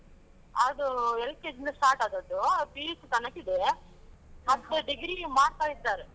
ಅದು LKG ಇಂದ start ಆದದ್ದು, PUC ತನಕ ಇದೆ. degree ಮಾಡ್ತಾ ಇದ್ದರೆ.